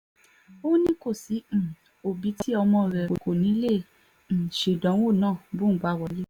ó ní kò sí um òbí tí ọmọ rẹ̀ kò ní í lè um ṣèdánwò náà bóun bá wọlé